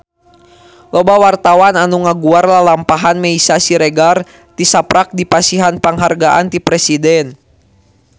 Loba wartawan anu ngaguar lalampahan Meisya Siregar tisaprak dipasihan panghargaan ti Presiden